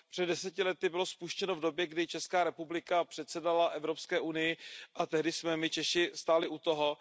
Před deseti lety bylo spuštěno v době, kdy Česká republika předsedala Evropské unii, a tehdy jsme my Češi stáli u toho.